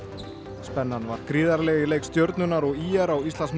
spennan var gríðarleg í leik Stjörnunnar og ÍR á Íslandsmóti